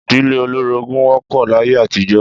Ìdílé olórogún wó̩p̩ò̩ láyé àtijó̩